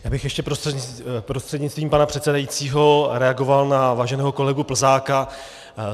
Já bych ještě prostřednictvím pana předsedajícího reagoval na váženého kolegu Plzáka.